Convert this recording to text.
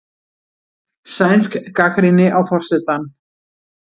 Sænsk gagnrýni á forsetann